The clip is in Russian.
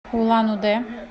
улан удэ